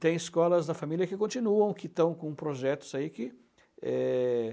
Tem escolas da família que continuam, que estão com projetos aí, que, eh